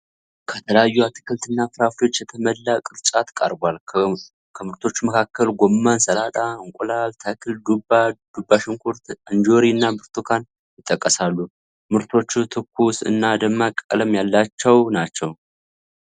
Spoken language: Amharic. ከተለያዩ አትክልትና ፍራፍሬዎች የተሞላ ቅርጫት ቀርቧል። ከምርቶቹ መካከል ጎመን፣ ሰላጣ፣ እንቁላል ተክል፣ ዱባ፣ ዱባ ሽንኩርት፣ እንጆሪ እና ብርቱካን ይጠቀሳሉ። ምርቶቹ ትኩስ እና ደማቅ ቀለም ያላቸው ናቸው።